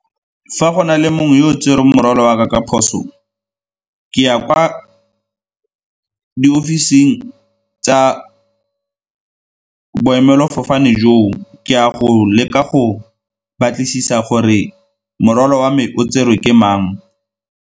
Fa go na le mongwe yo o tsereng morwalo wa ka ka phoso, ke ya kwa di ofising tsa boemelafofane joo, ke a go leka go batlisisa gore morwalo wa me o tserwe ke mang.